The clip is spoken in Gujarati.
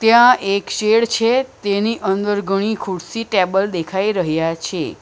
ત્યાં એક શેડ છે તેની અંદર ઘણી ખુરશી ટેબલ દેખાઈ રહ્યા છે.